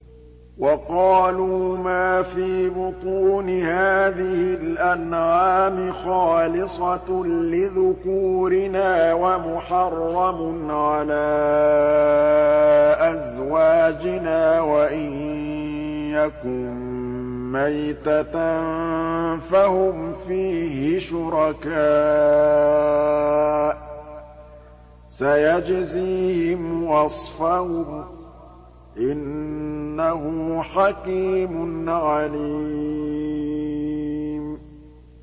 وَقَالُوا مَا فِي بُطُونِ هَٰذِهِ الْأَنْعَامِ خَالِصَةٌ لِّذُكُورِنَا وَمُحَرَّمٌ عَلَىٰ أَزْوَاجِنَا ۖ وَإِن يَكُن مَّيْتَةً فَهُمْ فِيهِ شُرَكَاءُ ۚ سَيَجْزِيهِمْ وَصْفَهُمْ ۚ إِنَّهُ حَكِيمٌ عَلِيمٌ